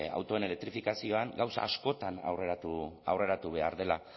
autoen elektrifikazioan gauza askotan aurreratu behar dela